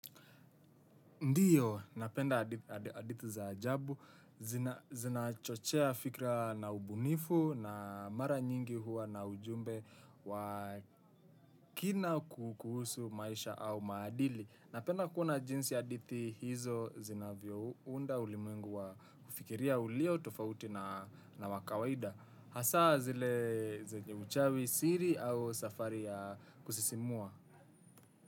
Ndiyo, napenda hadithi za ajabu, zinachochea fikra na ubunifu na mara nyingi huwa na ujumbe wa kina kuhusu maisha au maadili. Napenda kuona jinsi hadithi hizo zinavyounda ulimwengu wa kufikiria ulio tofauti na wa kawaida. Hasa, zile zenye uchawi siri au safari ya kusisimua.